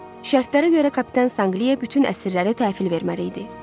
Şərtlərə görə kapitan Sanqlia bütün əsirləri təhvil verməli idi.